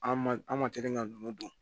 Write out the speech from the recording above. An ma an ma teli ka ninnu don